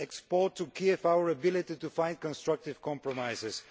Let us export to Kiev our ability to find constructive compromises.